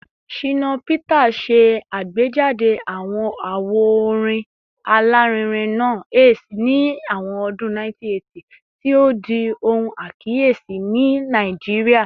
Shina Peters ṣe agbejade awo orin alarinrin naa “Ace” ni awọn ọdun 1980, ti o di ohun akiyesi ni Naijiria